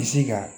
Bisi ka